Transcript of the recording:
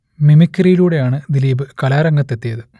മിമിക്രിയിലൂടെയാണ് ദിലീപ് കലാരംഗത്ത് എത്തിയത്